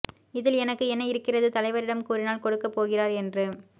இதில் எனக்கு என்ன இருக்கிறது தலைவரிடம் கூறினால் கொடுக்க போகிறார் என்று